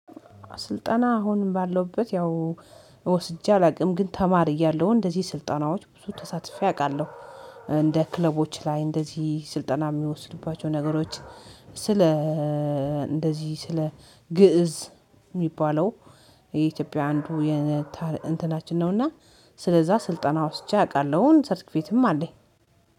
ስልጠና አሁንም ባለውበት ያው ወስጄ አላውቅም ግን ተማሪ እያለሁ እንደዚህ ስልጣናዎች ብዙ ተሳትፌ አውቃለሁ። እንደ ክለቦች ላይ እንደዚህ ስልጠና የሚወስድባቸው ነገሮች ስለ እንደዚህ ስለ ግእዝ የሚባለው የኢትዮጵያ አንዱ የእንትናችን ነውና። ስለዛ ስልጠና ወስጄ አውቃለሁ ሰርተፊኬትም አለኝ።